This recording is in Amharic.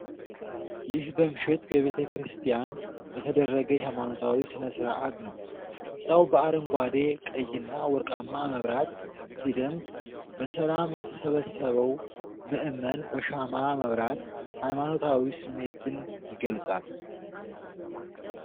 ይህ በምሽት በቤተ ክርስቲያን የተደረገ የሃይማኖታዊ ሥነ ሥርዓትን ነው። ሕንጻው በአረንጓዴ፣ ቀይና ወርቃማ መብራት ሲደምቅ፣ በሰላም የተሰበሰበው ምዕመን በሻማ መብራት ሃይማኖታዊ ስሜትን ይገልጻል።